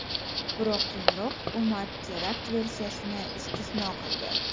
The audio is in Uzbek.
Biroq keyinroq hukumat terakt versiyasini istisno qildi.